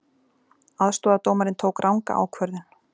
Aðstoðardómarinn tók ranga ákvörðun